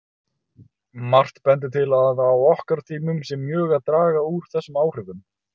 Margt bendir til að á okkar tímum sé mjög að draga úr þessum áhrifum.